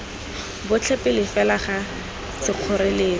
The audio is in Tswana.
botlhe pele fela ga sekgoreletsi